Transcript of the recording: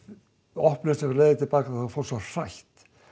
opnuðust leiðir til baka þá var fólk svo hrætt